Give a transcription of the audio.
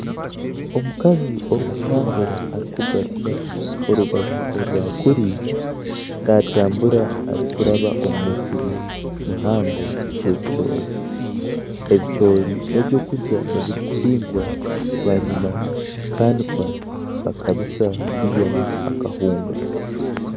Omukazi orikutambura erikugaruza orubaju orwakuri naatambura arikuraba omu musiri muhango gw'ebicoori, ebicoori n'eby'okurya ebirikuhingwa bwanyima bikanikwa bakabisa kwihamu akahunga.